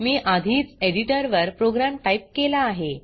मी आधीच एडिटर वर program type केला आहे